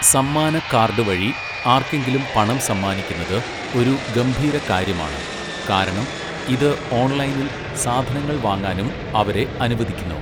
സമ്മാന കാർഡ് വഴി ആർക്കെങ്കിലും പണം സമ്മാനിക്കുന്നത് ഒരു ഗംഭീര കാര്യമാണ്. കാരണം, ഇത് ഓൺലൈനിൽ സാധനങ്ങൾ വാങ്ങാനും അവരെ അനുവദിക്കുന്നു.